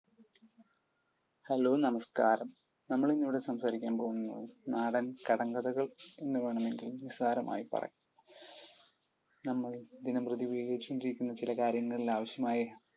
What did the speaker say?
hello നമസ്കാരം. നമ്മൾ ഇന്നിവിടെ സംസാരിക്കാൻ പോകുന്നത് നാടൻ കടങ്കഥകൾ എന്ന് വേണമെങ്കിൽ നിസാരമായി പറയാം. നമ്മൾ ദിനംപ്രതി ഉപയോഗിച്ചു കൊണ്ടിരിക്കുന്ന ചില കാര്യങ്ങളിൽ ആവശ്യമായ